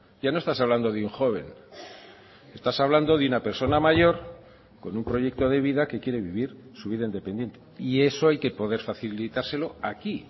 ya no estás hablando de un joven estás hablando de una persona mayor con un proyecto de vida que quiere vivir su vida independiente y eso hay que poder facilitárselo aquí